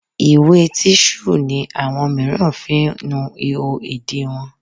Ìwé tíṣù ni àwọn míràn ń fi ń nu ihò ìdí wọn.